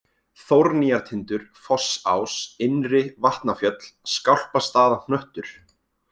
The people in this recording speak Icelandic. Þórnýjartindur, Fossás, Innri-Vatnafjöll, Skálpastaðahnöttur